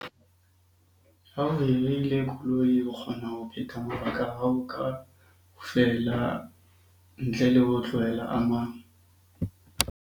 Ha o koloi, o kgona ho phetha mabaka a hao kaofela ntle le ho tlohela a mang.